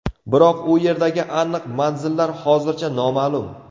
Biroq u yerdagi aniq manzillar hozircha noma’lum.